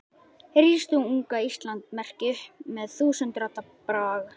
Rís þú, unga Íslands merki, upp með þúsund radda brag.